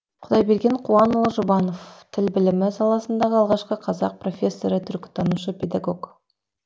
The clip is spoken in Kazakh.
құдайберген қуанұлы жұбанов тіл білімі саласындағы алғашқы қазақ профессоры түркітанушы педагог